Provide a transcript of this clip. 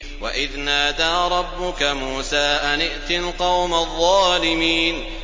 وَإِذْ نَادَىٰ رَبُّكَ مُوسَىٰ أَنِ ائْتِ الْقَوْمَ الظَّالِمِينَ